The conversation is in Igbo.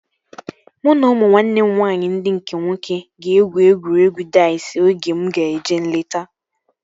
Mụ na ụmụ nwanne m nwaanyị ndị nke nwoke egwu egwuregwu daiz oge mụ ga-eje nleta